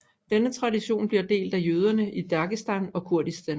Denne tradition bliver delt af jøderne i Dagestan og Kurdistan